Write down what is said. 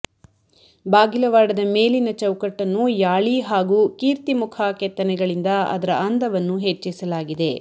ಬಾಗಿಲವಾಡದ ಮೇಲಿನ ಚೌಕಟ್ಟನ್ನು ಯಾಳಿ ಹಾಗೂ ಕೀರ್ತಿಮುಖ ಕೆತ್ತನೆಗಳಿಂದ ಅದರ ಅಂದವನ್ನು ಹೆಚ್ಚಿಸಲಾಗಿದೆ